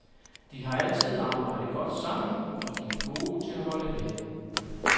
De har altid arbejdet godt sammen og de er gode til at holde ved.